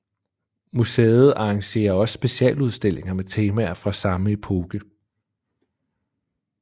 Museet arrangerer også specialudstillinger med temaer fra samme epoke